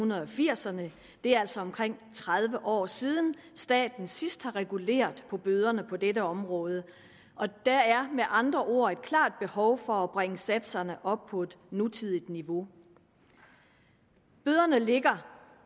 firserne og det er altså omkring tredive år siden at staten sidst har reguleret bøderne på dette område der er med andre ord et klart behov for at bringe satserne op på et nutidigt niveau bøderne ligger